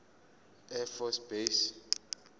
air force base